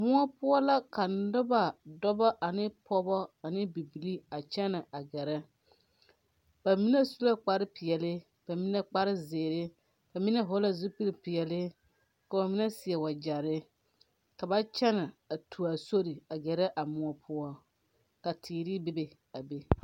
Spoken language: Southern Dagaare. Moɔ poɔ la ka nobɔ dɔbɔ ane pɔɔbɔ ane bibilii a kyɛnɛ a gɛrɛ ba mine su la kpare peɛle ba mine kpare zeere ba mine hɔɔle la zupiipeɛɛle ka ba mine seɛ wagyɛrre ka ba kyɛnɛ a tu aa sore a gɛrɛ a moɔ poɔ ka teere bebe a be.